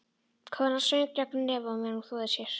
Konan söng gegnum nefið á meðan hún þvoði sér.